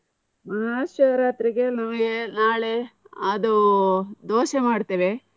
ಮಹಾಶಿವ ರಾತ್ರಿಗೆ ನಮ್ಮ್ಗೆ ನಾಳೆ ಅದು ದೋಸೆ ಮಾಡ್ತೇವೆ.